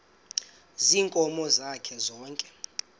ziinkomo zakhe zonke